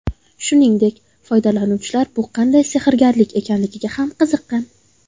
Shuningdek, foydalanuvchilar bu qanday sehrgarlik ekanligiga ham qiziqqan .